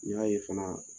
N y'a ye fana